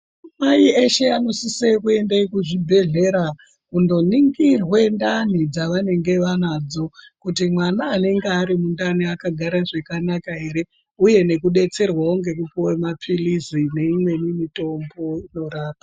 Madzimai eshe anosise kuenda kuzvibhedhlera, kundoningirwa ndani dzavanenge vanadzo kuti mwana anenge ari mundani, akagara zvakanaka ere, uye nekudetserwawo ngekupuwa mapilizi neimweni mitombo inorapa.